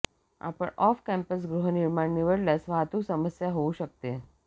आपण off campus गृहनिर्माण निवडल्यास वाहतूक समस्या होऊ शकते